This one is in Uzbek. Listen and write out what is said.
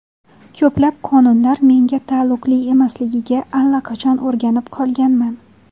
Ko‘plab qonunlar menga taalluqli emasligiga allaqachon o‘rganib qolganman.